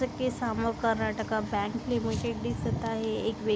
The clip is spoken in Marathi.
कार्नाटका बँक लिमिटेड दिसत आहे एक व्य--